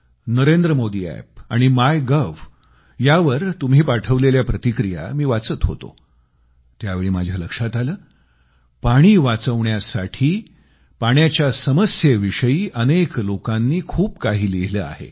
Narendra Modi app आणि MyGov यांच्यावर तुम्ही पाठवलेल्या प्रतिक्रिया मी वाचत होतो त्यावेळी माझ्या लक्षात आलं पाणी समस्येविषयी अनेक लोकांनी खूप काही लिहिलं आहे